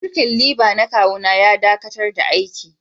Birkin liba na kawu na ya dakatar da aiki.